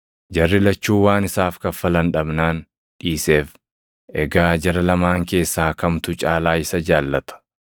Jarri lachuu waan isaaf kaffalan dhabnaan dhiiseef. Egaa jara lamaan keessaa kamtu caalaa isa jaallata?”